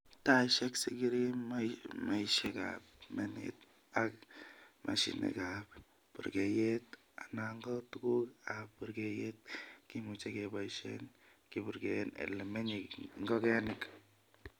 Taisiek, sigiri, maisiek ab menet ak mashinigat purgeyet ana ko tuguk ab purgeiyet kimuche keboishen kipurgeen ele menye ingongenik.